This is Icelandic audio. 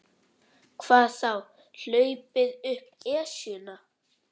Hvað þá hlaupið upp Esjuna.